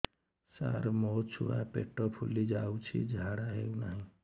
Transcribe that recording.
ସାର ମୋ ଛୁଆ ପେଟ ଫୁଲି ଯାଉଛି ଝାଡ଼ା ହେଉନାହିଁ